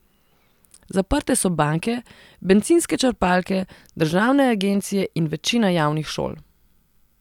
Zaprte so banke, bencinske črpalke, državne agencije in večina javnih šol.